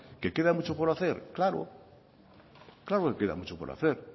que queda mucho por hacer claro claro que queda mucho por hacer